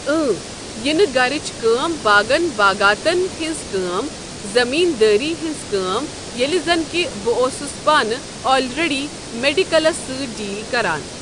اۭں یہِ نہ گرٕچ کٲم باغن باغاتن ہنٛز کٲم زمیٖن دٲری ہنٛز کٲم ییٚلہِ زن کہِ بہٕ اوسُس پانہِ آلریٚڈی میڑکٕلِس سۭتۍ ڈیٖل کران۔